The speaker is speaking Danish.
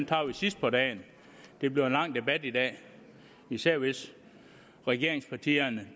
tager vi sidst på dagen det bliver en lang debat i dag især hvis regeringspartierne